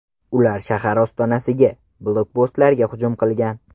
Ular shahar ostonasiga blokpostlarga hujum qilgan.